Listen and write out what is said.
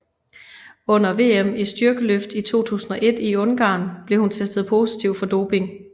Under VM i styrkeløft i 2001 i Ungarn blev hun testet positiv for doping